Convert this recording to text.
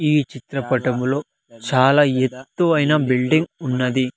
ఈ చిత్రపటములో చాలా ఎత్తు అయినా బిల్డింగ్ ఉన్నది.